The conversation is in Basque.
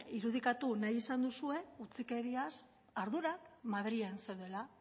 irudikatu nahi izan duzue utzikeriaz ardurak madrilen zeudela